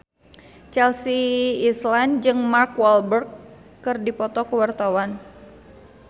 Chelsea Islan jeung Mark Walberg keur dipoto ku wartawan